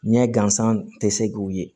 Ɲɛ gansan tɛ se k'u ye